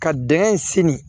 Ka dingɛ in senni